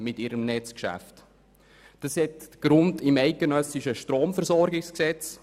Dies hat seinen Grund im eidgenössischen Stromversorgungsgesetz.